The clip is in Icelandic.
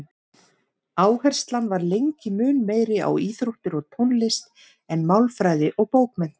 Áherslan var lengi mun meiri á íþróttir og tónlist en málfræði og bókmenntir.